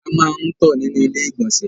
A máa ń tọ̀ nínú ilé ìgbọ̀nsẹ̀.